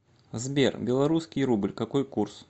сбер белорусский рубль какой курс